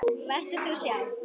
Vertu þú sjálf.